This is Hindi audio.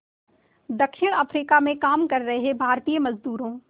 दक्षिण अफ्रीका में काम कर रहे भारतीय मज़दूरों